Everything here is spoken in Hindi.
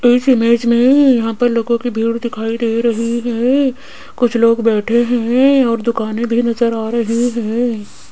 इस इमेज में यहां पर लोगों की भीड़ दिखाई दे रही है कुछ लोग बैठे हैं और दुकाने भी नजर आ रही हैं।